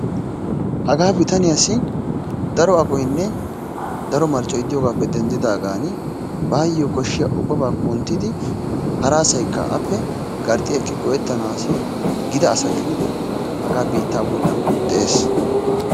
Hagaa bitaniyaassi daro aqoynne daro marccoy de'iyogaappe denddidaagan baayo koshshiya ubbabaa kunttidi hara asaykka appe garxxi ekki go"ettanaassi gida asa gididi hagaa biittaa bollan de'ees.